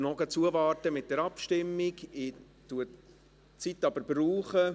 Ich warte noch mit der Abstimmung zu, aber verwende die Zeit.